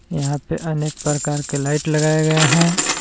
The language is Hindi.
यहां पे अनेक प्रकार के लाइट लगाए गए हैं।